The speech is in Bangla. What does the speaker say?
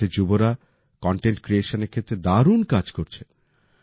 ভারতের যুবরা কন্টেন্ট ক্রিয়েশনের ক্ষেত্রে দারুণ কাজ করছে